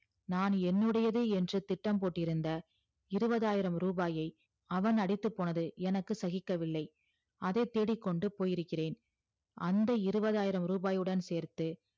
நான் என்னுடையது என்று திட்டம் போட்டு இருந்த இருவதாயரம் ரூபாய்யை அவன் அடித்து போனது எனக்கு சகிக்கவில்லை அதை தேடிக்கொண்டு போயிருக்கிறேன் அந்த இருவதாயரவுடன் சேர்த்து